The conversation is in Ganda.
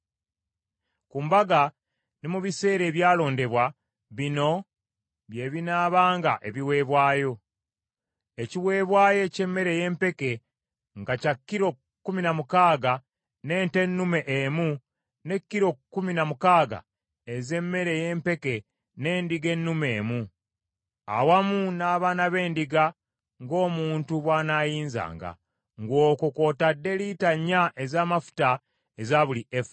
Ku mbaga ne mu biseera ebyalondebwa bino bye binaabanga ebiweebwayo: ekiweebwayo eky’emmere ey’empeke nga kya kilo kkumi na mukaaga n’ente ennume emu ne kilo kkumi na mukaaga ez’emmere ey’empeke n’endiga ennume emu, awamu n’abaana b’endiga ng’omuntu bw’anaayinzanga, ng’okwo kw’otadde lita nnya ez’amafuta eza buli efa.